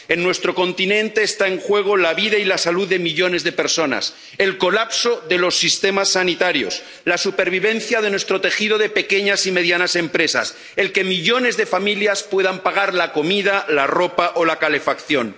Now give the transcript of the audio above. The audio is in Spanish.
En nuestro continente están en juego la vida y la salud de millones de personas, el colapso de los sistemas sanitarios, la supervivencia de nuestro tejido de pequeñas y medianas empresas, el que millones de familias puedan pagar la comida, la ropa o la calefacción.